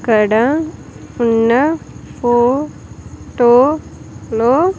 ఇక్కడ ఉన్న photo-- లో.